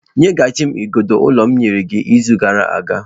Nyeghachi m igodo ụlọ m nyere gị izu gara aga.